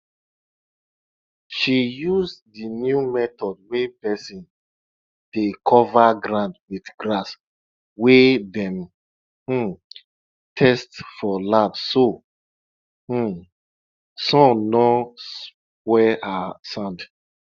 she use di new method wey person dey cover ground with grass wey dem um test for lab so um sun no spoil her sand